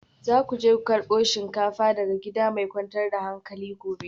Za ku je ku karbo shinkafar daga gida mai kwantar da hankali gobe